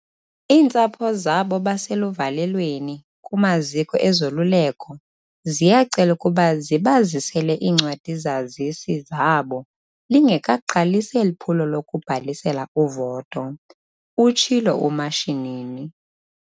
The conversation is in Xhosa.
"Iintsapho zabo baseluvalelweni kumaziko ezoluleko ziyacelwa ukuba zibazisele iincwadi-zazisi zabo lingekaqalisi eli phulo lokubhalisela uvoto," utshilo uMashinini.